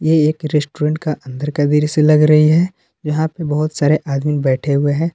ये एक रेस्टुरेंट का अंदर का दृश्य लग रही है जहां पे बहोत सारे आदमी बैठे हुवे हैं।